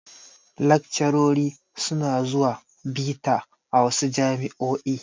Laccarori su na zuwa bita a wasu jami'o'i